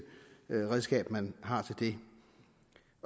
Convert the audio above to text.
redskab man har til det